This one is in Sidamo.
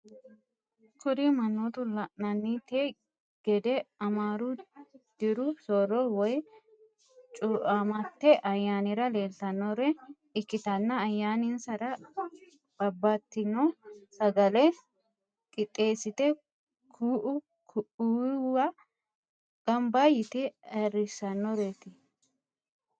Kuri manoti lananite gede amaru diru soro woyim chuamate ayanira lelitanore ikitana ayananisara babatitino sagale qitesite ku’u ku’uriwa ganiba yite ayirisanoret.